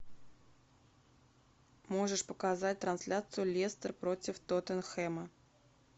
можешь показать трансляцию лестер против тоттенхэма